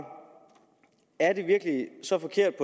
er det virkelig så forkert at